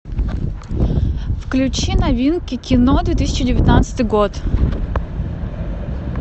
включи новинки кино две тысячи девятнадцатый год